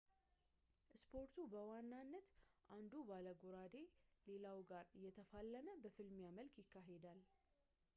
ስፖርቱ በዋናነት አንዱ ባለጎራዴ ሌላው ጋር እየተፋለመ በፍልሚያ መልክ ይካሄዳል